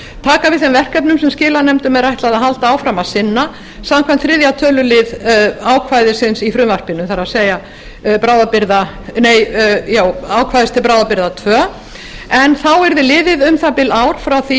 taka við þeim verkefnum sem skilanefndum er ætlað að halda áfram að sinna samkvæmt þriðja tölulið ákvæðisins í frumvarpinu það er ákvæðis til bráðabirgða tvö en þá yrði liðið um það bil ár frá því